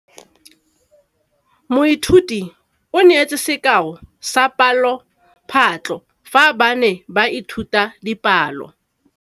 Moithuti o neetse sekaô sa palophatlo fa ba ne ba ithuta dipalo.